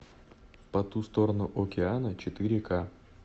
по ту сторону океана четыре к